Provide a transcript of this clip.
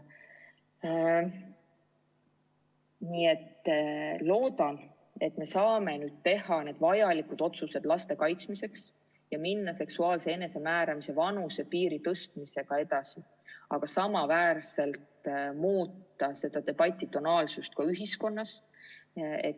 Ma loodan, et me saame teha need vajalikud otsused laste kaitsmiseks ja minna seksuaalse enesemääramise vanusepiiri tõstmisega edasi, aga samas ka muuta selle debati tonaalsust ühiskonnas.